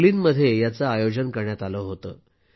बर्लिनमध्ये याचे आयोजन करण्यात आले होते